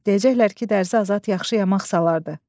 Deyəcəklər ki, Dərzi Azad yaxşı yamaq salardı.